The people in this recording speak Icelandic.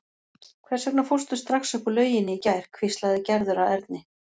Hvers vegna fórstu strax upp úr lauginni í gær? hvíslaði Gerður að Erni.